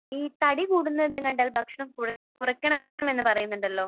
ഈ തടി കൂടുന്നത് കണ്ടാൽ ഭക്ഷണം കുറയ്ക്കണം എന്ന് പറയുന്നുണ്ടല്ലോ.